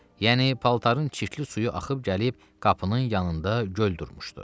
yəni paltarın çirkli suyu axıb gəlib qapının yanında göl durmuşdu.